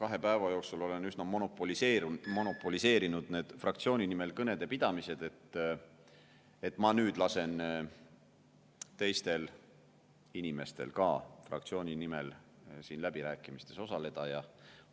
kahe päeva jooksul olen üsna monopoliseerinud need fraktsiooni nimel kõnede pidamised, aga nüüd ma lasen teistel inimestel ka fraktsiooni nimel läbirääkimistes osaleda.